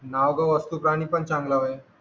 नाव गाव वस्तू प्राणी पण चांगला होय